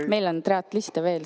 Meil on triatloniste siin veel.